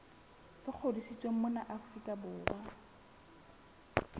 le ngodisitsweng mona afrika borwa